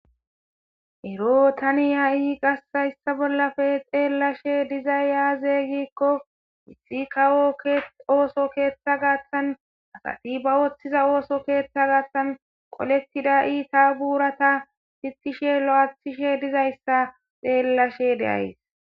ero tani ha7i qassayssa bollafe xeellashe dizay yaazeygikko mixi kawo ooso keeththa gaathtan asati ba wooththiza ooso keeththa gaathtan qolettida ii ta buurata titishe lo7athishe dizayssa xeellashe deays